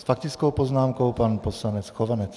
S faktickou poznámkou pan poslanec Chovanec.